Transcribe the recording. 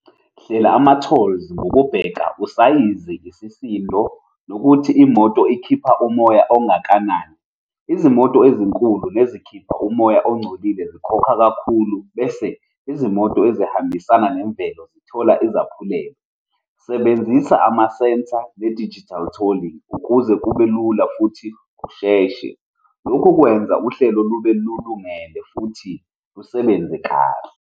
Hlela ama-toll ngokubheka usayizi, isisindo, nokuthi imoto ikhipha umoya ongakanani. Izimoto ezinkulu nezikhipha umoya ongcolile zikhokha kakhulu, bese izimoto ezihambisana nemvelo zithola izaphulelo. Sebenzisa ama-centre ne-digital tolling, ukuze kube lula futhi kusheshe. Lokhu kwenza uhlelo lube lungelo futhi lusebenze kahle.